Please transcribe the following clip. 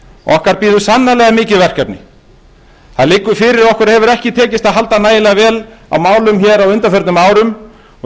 okkar bíður sannarlega mikið verkefni það liggur fyrir að okkur hefur ekki tekist að halda nægilega vel á málum hér á undanförnum árum